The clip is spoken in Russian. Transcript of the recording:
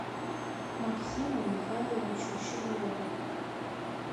максиму михайловичу щеглову